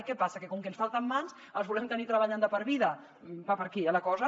què passa que com que ens falten mans els volem tenir treballant de per vida va per aquí eh la cosa